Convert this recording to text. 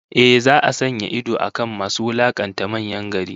Ehh, za'a sanya idon akan masu wulakanta manyan gari